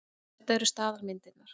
En þetta eru staðalmyndirnar.